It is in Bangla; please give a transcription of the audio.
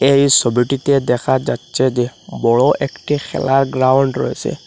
এই সোবিটিতে দেখা যাচ্ছে যে বড় একটি খেলার গ্রাউন্ড রয়েসে।